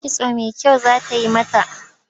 Kitso mai kyau za ta yi mata.